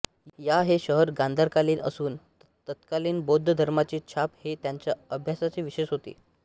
या हे शहर गांधारकालीन असून तत्कालीन बौद्ध धर्माची छाप हे त्यांच्या अभ्यासाचे विषय होते